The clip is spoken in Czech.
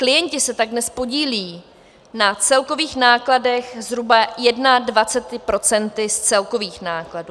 Klienti se tak dnes podílejí na celkových nákladech zhruba 21 % z celkových nákladů.